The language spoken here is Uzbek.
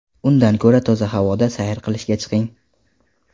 Undan ko‘ra toza havoda sayr qilishga chiqing.